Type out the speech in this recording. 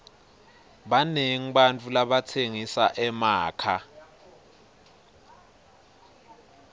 banengi bantfu labatsengisa emakha